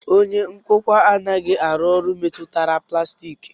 Onye nkụkwa anaghị arụ ọrụ metụtara plastiki